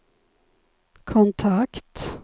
kontakt